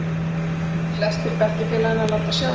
Flestir bekkjarfélaganna láta sjá sig.